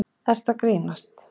ert að grínast.